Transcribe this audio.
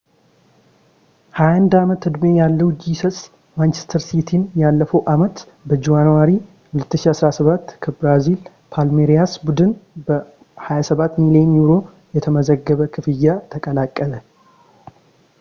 21-አመት-ዕድሜ ያለው ጂሰስ ማንቸስተር ሲቲን ያለፈው አመት በጃንዋሪ 2017 ከብራዚል ፓልሜሪያስ ቡድን በ £27 ሚሊየን የተዘገበ ክፍያ ተቀላቀለ